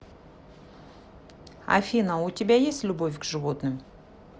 афина у тебя есть любовь к животным